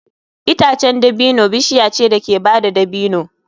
Itacen dabino bishiya ce da ke bada dabino.